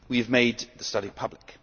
We have made the study public.